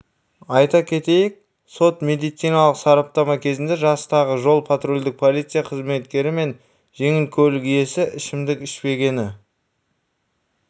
айта кетейік сот медициналық сараптама кезінде жастағы жол-патрульдік полиция қызметкері мен жеңіл көлік иесі ішімдік ішпегені